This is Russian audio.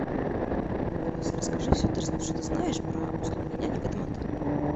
алиса расскажи все что ты знаешь про услуги няни в этом отеле